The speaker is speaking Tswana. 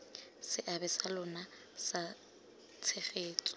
seabe sa lona sa tshegetso